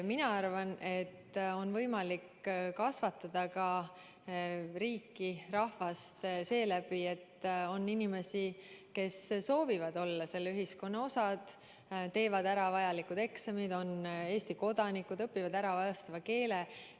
Mina arvan, et on võimalik kasvatada rahvast ka arvestades, et on muust rahvusest inimesi, kes soovivad olla selle ühiskonna osad, teevad ära vajalikud eksamid, on Eesti kodanikud, õpivad ära meie keele.